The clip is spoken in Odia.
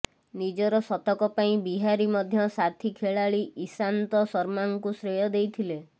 ନିଜର ଶତକ ପାଇଁ ବିହାରୀ ମଧ୍ୟ ସାଥୀ ଖେଳାଳି ଈଶାନ୍ତ ଶର୍ମାଙ୍କୁ ଶ୍ରେୟ ଦେଇଥିଲେ